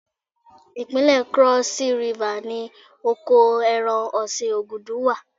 Ìpínlẹ̀ Krọ́sí Rifà ni oko ẹran ọ̀sìn Ògùdù wà.